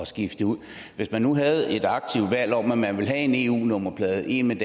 skifte det ud hvis man nu havde et aktivt valg om at man ville have en eu nummerplade en med